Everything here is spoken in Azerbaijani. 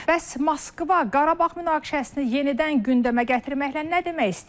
Bəs Moskva Qarabağ münaqişəsini yenidən gündəmə gətirməklə nə demək istəyir?